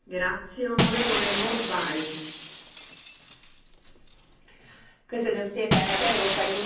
Az Európai Unió elvben kiemelt értéknek kezeli a jog uralmát, a jogállamiságot.